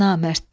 Namərddən.